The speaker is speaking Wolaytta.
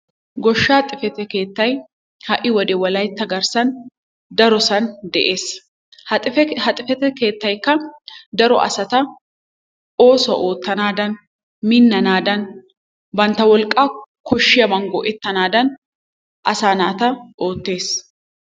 Goshshaa xifate keettay ha'i wode wolayitta garssan darosan de'es. Ha xifate keettaykka daro asata oosuwa oottanaadan minnanaadan bantta wolqqaa koshshiyaban go'ettanaadan asaa naata oottes.